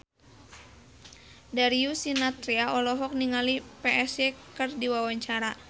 Darius Sinathrya olohok ningali Psy keur diwawancara